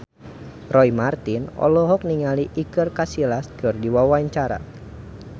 Roy Marten olohok ningali Iker Casillas keur diwawancara